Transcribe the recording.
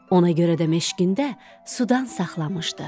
Ona görə də meşqində sudan saxlamışdı.